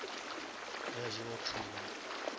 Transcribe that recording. ya jewa two one